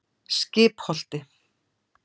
Skipholti